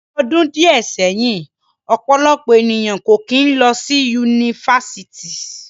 Ni ọdun diẹ sẹhin, ọpọlọpọ eniyan ko kin lọ si Yunifásítì